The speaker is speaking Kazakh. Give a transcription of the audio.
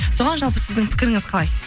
соған жалпы сіздің пікіріңіз қалай